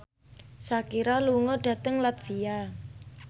Shakira lunga dhateng latvia